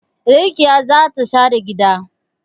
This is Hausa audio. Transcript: Rakiya za ta share gida